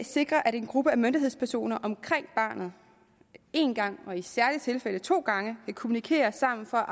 sikrer at en gruppe af myndighedspersoner omkring barnet én gang og i særlige tilfælde to gange vil kommunikere sammen for